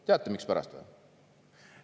Teate mikspärast või?